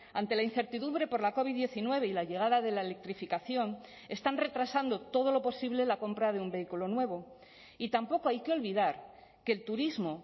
ante la incertidumbre por la covid diecinueve y la llegada de la electrificación están retrasando todo lo posible la compra de un vehículo nuevo y tampoco hay que olvidar que el turismo